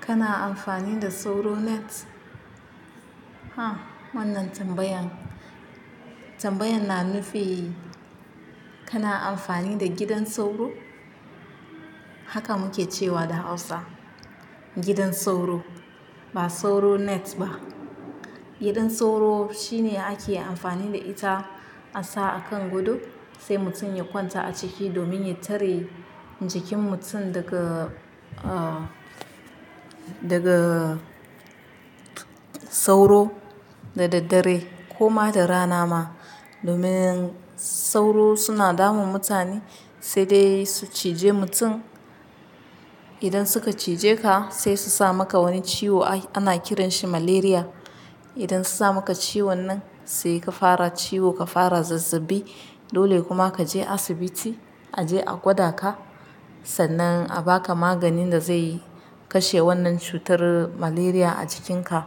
Kana amfani da sauro net? Ha wannan tambayan, tambayan na nufi kana amfani da gidan sauro? Haka muke cewa da hausa gidan sauro ba sauro net ba. Gidan sauro shine ake amfani da ita, a sa a kan gado sai mutum ya kwanta a ciki domin ya tare jikin mutum daga, ah, daga sauro da daddare ko ma da rana ma. Domin sauro suna damun mutane sai dai su ciji mutum. Idan suka cije ka sai su sa maka wani ciwo ana kiranshi malaria. Idan su sa maka ciwon nan sai ka fara ciwo, ka fara zazzaɓi dole kuma ka je asibiti a je a gwada ka. Sannan a ba ka maganin da zai kashe wannan cutar malaria a jikinka.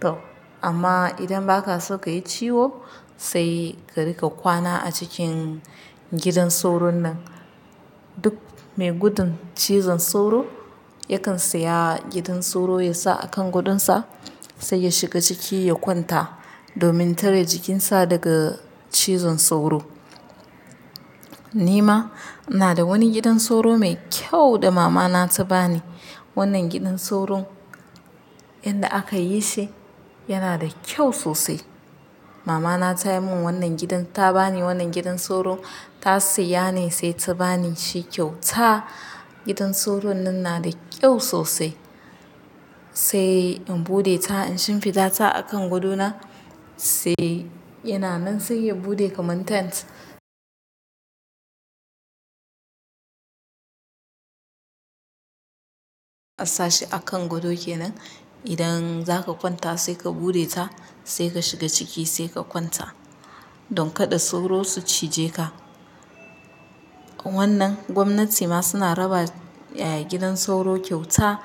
To amma idan ba ka so ka yi ciwo sai ka riƙa kwana a cikin gidan sauro nan. Duk mai gudun cizon sauro yakan saya gidan sauro ya sa a kan gadonsa sai ya shiga ciki ya kwanta domin tare jikinsa daga cizon sauro. Ni ma ina da wani gidan sauro mai kyau da mama na ta ba ni. Wannan gidan sauro inda aka yi shi yana da kyau sosai. Mama na ta yi mun wannan gidan, ta ba ni wannan gidan sauro. Ta siya ne sai ta ba ni shi kyauta. Gidan sauro nan yana da kyau sosai. Sai in buɗe ta, in shifiɗa ta a kan gadona sai yana nan sai ya buɗe kamar tent. A sashi akan gado kenan. Idan zaka kwanta sai ka buɗe ta sai ka shiga ciki sai ka kwanta don kada sauro su cije ka. Wannan gwamnati ma suna raba gidan sauro kyauta,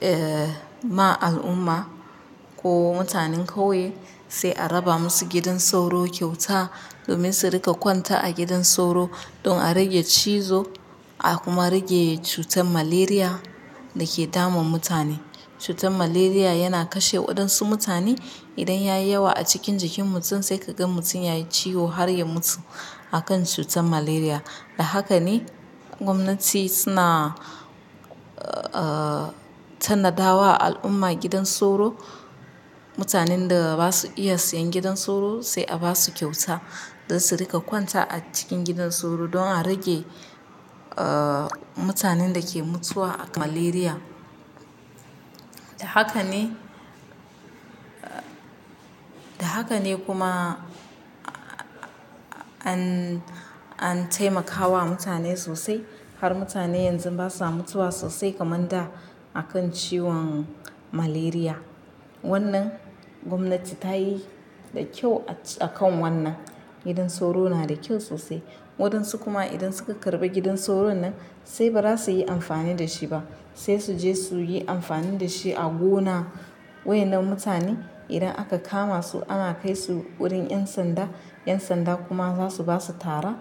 eh, ma al'umma ko mutanen ƙauye sai a raba masu gidan sauro kyauta domin su rika kwanta a gidan sauro don a rage cizo a kuma rage cutar malaria da ke dama mutane. Cutar malaria yana kashe waɗansu mutane. Idan ya yi yawa a cikin jikin mutum sai ka gan mutum ya yi ciwo har ya mutu akan cutan malaria. Da haka ne gwamnati suna, ah, tannada wa al'umma gidan sauro. Mutanen da basu iya siyan gidan sauro sai a basu kyauta don su riƙa kwanta a cikin gidan sauro don a rage, ah, mutanen da ke mutuwa a malaria. Da haka ne, da haka ne kuma an, an taimakawa mutane sosai har mutane yanzu basa mutuwa sosai kaman da akan ciwon malaria. Wannan gwamnati ta yi da kyau a kan wannan. Gidan sauro yana da kyau sosai. Waɗansu kuma idan suka karɓi gidan sauro nan sai ba za su yi amfani da shi ba. Sai su je su yi amfani da shi a gona. Waye nan mutane idan aka kama su ana kai su wurin 'yan sanda, 'yan sanda kuma za su basu tara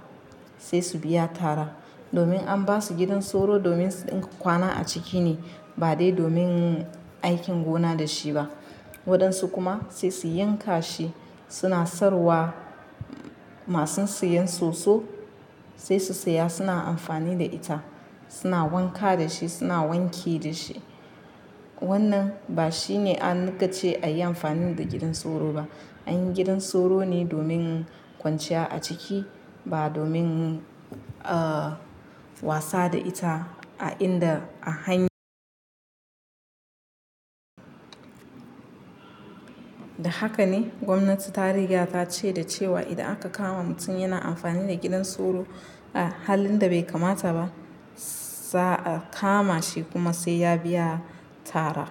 sai su biya tara. Domin an basu gidan sauro domin su rinƙa kwana a ciki ne ba dai domin aikin gona da shi ba. Waɗansu kuma sai su yanka shi suna sayarwa. Masun siyan soso sai su saya suna amfani da ita, suna wanka da shi suna wanki da shi. Wannan ba shine an niƙa ce a yi amfani da gidan sauro ba. Anyi gidan sauro ne domin kwanciya a ciki ba domin, ah, wasa da ita a inda a hany Da haka ne gwamnati ta riga ta ce da cewa idan aka kama mutum yana amfani da gidan sauro a halin da bai kamata ba, za a kama shi kuma sai ya biya tara.